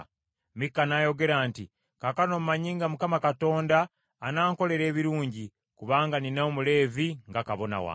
Mikka n’ayogera nti, “Kaakano mmanyi nga Mukama Katonda anankoleranga ebirungi, kubanga nnina Omuleevi nga kabona wange.”